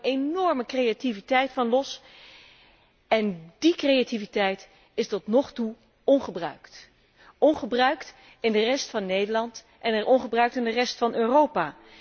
Daar kwam een enorme creativiteit los en die creativiteit is tot nu toe ongebruikt. Ongebruikt in de rest van Nederland en ongebruikt in de rest van Europa.